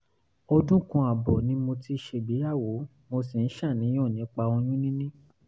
ọdún kan ààbọ̀ ni mo ti ṣègbéyàwó mo sì ń ṣàníyàn nípa oyún níní